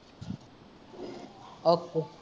okay